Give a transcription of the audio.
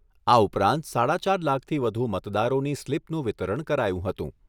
આ ઉપરાંત સાડા ચાર લાખથી વધુ મતદારોની સ્લિપનું વિતરણ કરાયું હતું.